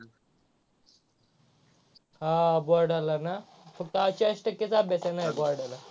हा बोर्डाल ना, फक्त चाळीस टक्केचा अभ्यास येणार आहे बोर्डाला.